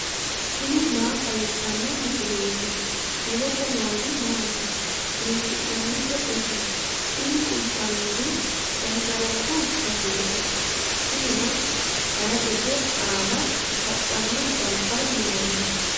tini maa xawissanno misileeti ? mulese noori maati ? hiissinannite ise ? tini kultannori gangalatu baseeti tinino hayiiqete aana hadhanno jalbaho yinanni.